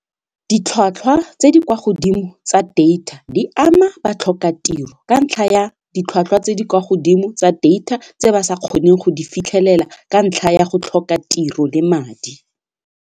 Ditlhwatlhwa tse di kwa godimo tsa data di ama batlhokatiro ka ntlha ya ditlhwatlhwa tse di kwa godimo tsa data tse ba sa kgoneng go di fitlhelela ka ntlha ya go tlhoka tiro le madi.